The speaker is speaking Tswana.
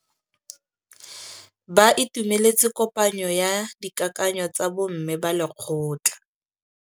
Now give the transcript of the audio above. Ba itumeletse kôpanyo ya dikakanyô tsa bo mme ba lekgotla.